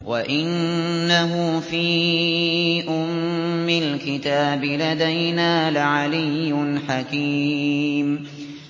وَإِنَّهُ فِي أُمِّ الْكِتَابِ لَدَيْنَا لَعَلِيٌّ حَكِيمٌ